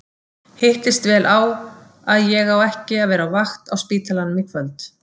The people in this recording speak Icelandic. Hittist vel á að ég á ekki að vera á vakt á spítalanum í kvöld!